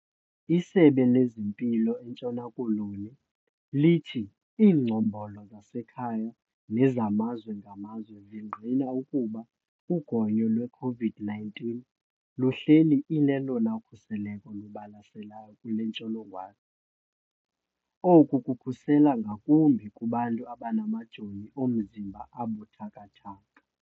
ISebe lezeMpilo eNtshona Koloni lithi iingcombolo zasekhaya nezamazwe ngamazwe zingqina ukuba ugonyo lwe-COVID-19 luhleli ilelona khuseleko lubalaseleyo kule ntsholongwane. Oku kukhusela ngakumbi kubantu abanamajoni omzimba abuthathaka.